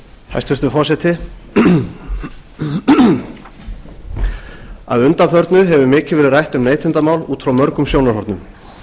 hæstvirtur forseti að undanförnu hefur mikið verið rætt um neytendamál út frá mörgum sjónarhornum